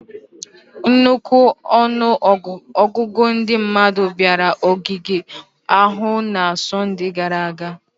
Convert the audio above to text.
Nnukwu ọnụ ọgụgụ ndị mmadụ bịara ogige ahụ na Sọnde gara aga